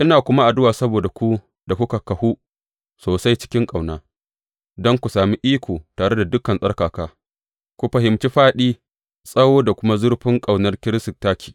Ina kuma addu’a saboda ku da kuka kahu sosai cikin ƙauna, don ku sami iko, tare da dukan tsarkaka, ku fahimci fāɗi, tsawo, da kuma zurfin ƙaunar Kiristi take.